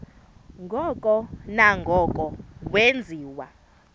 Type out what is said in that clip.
ngoko nangoko wenziwa